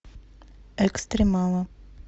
экстремалы